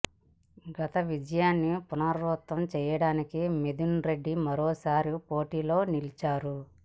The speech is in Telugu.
గత విజయాన్ని పునరావృత్తం చేయడానికి మిథున్ రెడ్డి మరోసారి పోటీలో నిలిచారు